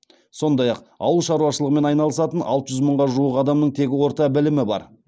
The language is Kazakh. сондай ақ ауыл шаруашылығымен айналысатын алты жүз мыңға жуық адамның тек орта білімі бар